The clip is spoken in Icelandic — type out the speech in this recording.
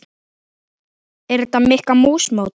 Er þetta Mikka mús mót?